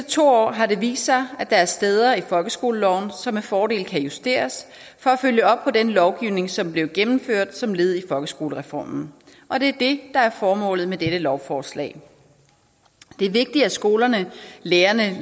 to år har det vist sig at der er steder i folkeskoleloven som med fordel kan justeres for at følge op på den lovgivning som blev gennemført som led i folkeskolereformen og det er det der er formålet med dette lovforslag det er vigtigt at skolerne lærerne